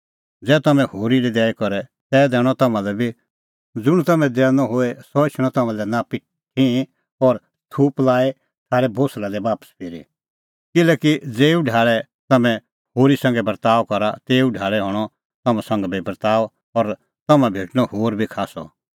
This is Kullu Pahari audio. ज़ै तम्हैं होरी लै दैई करे तै दैणअ तम्हां लै बी ज़ुंण तम्हैं दैनअ द होए सह एछणअ तम्हां लै नापी ठिंहीं और छ़ूप लाई थारै कल़टी दी बापस फिरी किल्हैकि ज़ेऊ ढाल़ै तम्हैं होरी संघै बर्ताअ करा तेऊ ढाल़ै हणअ तम्हां संघै बी बर्ताअ और तम्हां भेटणअ होर बी खास्सअ